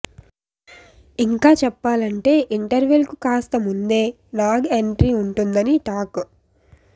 ఇంకా చెప్పాలంటే ఇంటర్వెల్ కు కాస్త ముందే నాగ్ ఎంట్రీ ఉంటుందని టాక్